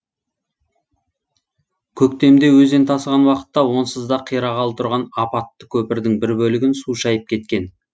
көктемде өзен тасыған уақытта онсыз да қирағалы тұрған апатты көпірдің бір бөлігін су шайып кеткен